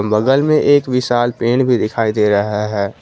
बगल में एक विशाल पेड़ भी दिखाई दे रहा है।